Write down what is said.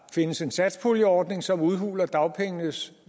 findes en satspuljeordning som udhuler dagpengenes